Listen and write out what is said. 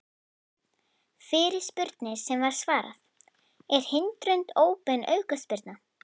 Fyrirspurnir sem var svarað: Er hindrun óbein aukaspyrna?